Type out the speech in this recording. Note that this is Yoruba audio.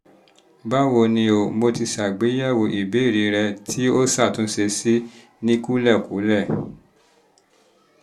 báwo ni o? mo ti se àgbéyẹ̀wò ìbéèrè rẹ tí o ṣàtúnṣe sí ní kúlẹ̀kúlẹ̀